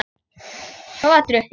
Svo var drukkið meira.